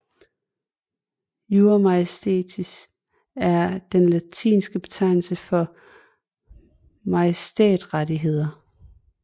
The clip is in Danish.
Jura Majestatis er den latinske betegnelse for majestætrettigheder